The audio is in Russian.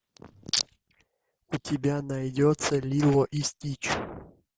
у тебя найдется лило и стич